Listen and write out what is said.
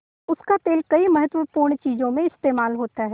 उसका तेल कई महत्वपूर्ण चीज़ों में इस्तेमाल होता है